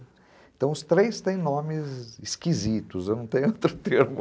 Então os três têm nomes esquisitos, eu não tenho outro termo.